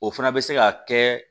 O fana bɛ se ka kɛ